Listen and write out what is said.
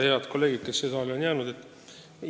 Head kolleegid, kes siia saali on jäänud!